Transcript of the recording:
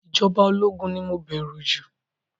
Ìjọba ológun ni mo bẹ̀rù jù